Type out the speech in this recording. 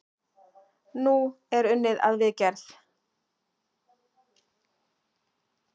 Nú er unnið að viðgerð.